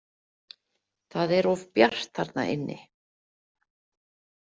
Það er of bjart þarna inni.